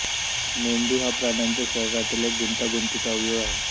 मेंदू हा प्राण्यांच्या शरीरातील एक गुंतागुंतीचा अवयव आहे